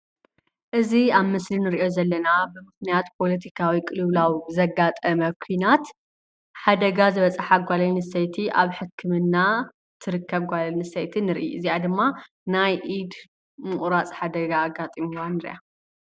እዚ ኣብ ምስሊ ንሪኦ ዘለና ብምኽንያት ፖለቲካዊ ቅልውላው ዘጋጠመ ኩናት ሓደጋ ዝበፅሓ ጓል ኣነስተይቲ ኣብ ሕክምና ትርከብ ጓል ኣነስትይቲ ንሪኢ፡፡ እዚኣ ድማ ናይ ኢድ ምቑራፅ ሓደጋ ኣጋጢምዋ ንሪኣ፡፡